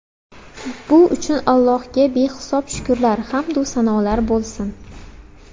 Bu uchun Allohga behisob shukrlar, hamd-u sanolar bo‘lsin.